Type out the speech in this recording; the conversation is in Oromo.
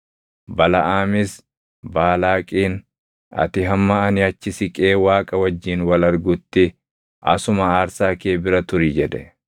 Balaʼaamis Baalaaqiin, “Ati hamma ani achi siqee Waaqa wajjin wal argutti asuma aarsaa kee bira turi” jedhe.